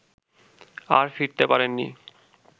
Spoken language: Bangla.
আর ফিরতে পারেন নি